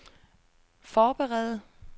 forberede